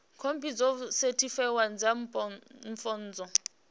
khophi dzo sethifaiwaho dza pfunzo